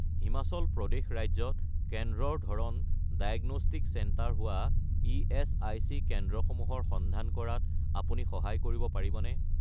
হিমাচল প্ৰদেশ ৰাজ্যত কেন্দ্ৰৰ ধৰণ ডায়েগনষ্টিক চেণ্টাৰ হোৱা ইএচআইচি কেন্দ্ৰসমূহৰ সন্ধান কৰাত আপুনি সহায় কৰিব পাৰিবনে?